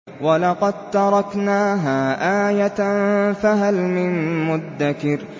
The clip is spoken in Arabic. وَلَقَد تَّرَكْنَاهَا آيَةً فَهَلْ مِن مُّدَّكِرٍ